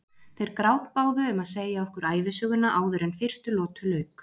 Þeir grátbáðu um að segja okkur ævisöguna áður en fyrstu lotu lauk.